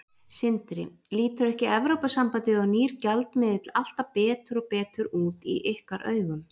Sindri: Lítur ekki Evrópusambandið og nýr gjaldmiðill alltaf betur og betur út í ykkar augum?